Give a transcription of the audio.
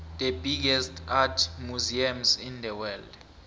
the biggest art museums in the world